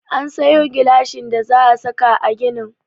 An sayo gilashin da za a saka a ginin.